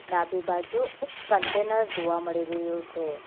ડાબી બાજુ એક કન્ટેનર જોવા મળી રહ્યું છે.